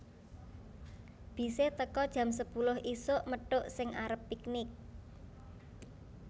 Bise teko jam sepuluh isuk methuk sing arep piknik